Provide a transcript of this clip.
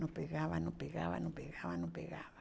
Não pegava, não pegava, não pegava, não pegava.